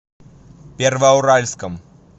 первоуральском